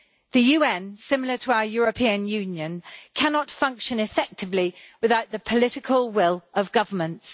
The UN, similar to our European Union, cannot function effectively without the political will of governments.